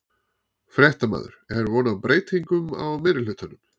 Fréttamaður: Er von á breytingum á meirihlutanum?